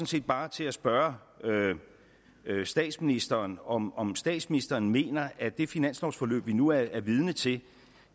set bare til at spørge statsministeren om om statsministeren mener at det finanslovsforløb vi nu er vidne til